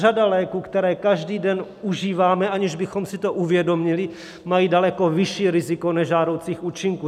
Řada léků, které každý den užíváme, aniž bychom si to uvědomili, mají daleko vyšší riziko nežádoucích účinků.